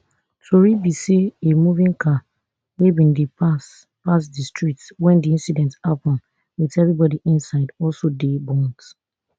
tori be say a moving car wey bin dey pass pass di street wen di incident happun wit evribodi inside also dey burnt